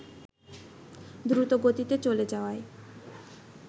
দ্রুতগতিতে চলে যাওয়ায়